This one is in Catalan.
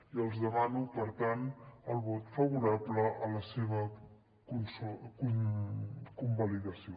i els demano per tant el vot favorable a la seva convalidació